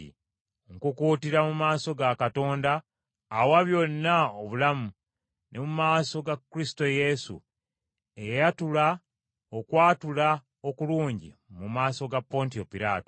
Nkukuutira mu maaso ga Katonda, awa byonna obulamu, ne mu maaso ga Kristo Yesu eyayatula okwatula okulungi mu maaso ga Pontiyo Piraato,